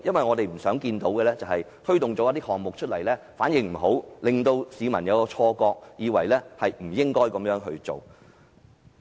我們不想看到政府推動這些項目後反應欠佳，令市民有錯覺，以為政府不應這樣做。